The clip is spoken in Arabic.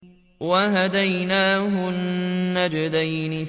وَهَدَيْنَاهُ النَّجْدَيْنِ